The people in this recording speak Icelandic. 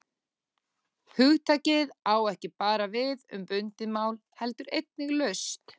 Hugtakið á ekki bara við um bundið mál heldur einnig laust.